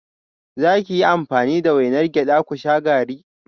Za ki yi amfani da wainar gyada ku sha garri?